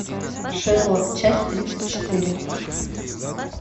шерлок часть тридцать четыре